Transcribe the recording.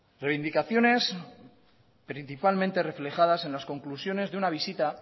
reivindicaciones principalmente reflejadas en las conclusiones de una visita